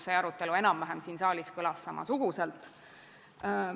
See arutelu kõlas siin saalis enam-vähem samasuguselt.